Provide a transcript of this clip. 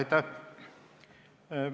Aitäh!